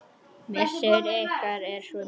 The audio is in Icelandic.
Missir ykkar er svo mikill.